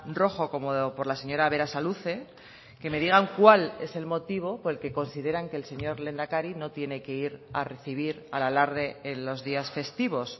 rojo como por la señora berasaluze que me digan cuál es el motivo por el que consideran que el señor lehendakari no tiene que ir a recibir al alarde en los días festivos